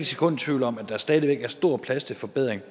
sekund i tvivl om at der stadig væk er stor plads til forbedring